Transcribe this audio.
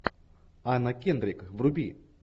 анна кендрик вруби